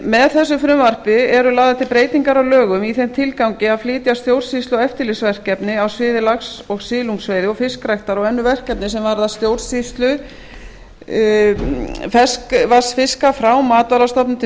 með þessu frumvarpi eru lagðar til breytingar á lögum í þeim tilgangi að flytja stjórnsýslu og eftirlitsverkefni á sviði lax og silungsveiði og fiskræktar og önnur verkefni sem varða stjórnsýslu ferskvatnsfiska frá matvælastofnun til